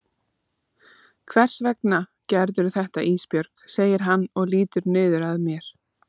Hvers vegna gerðirðu þetta Ísbjörg, segir hann og lýtur niður að mér.